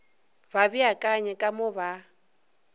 ba beakanye ka mo ba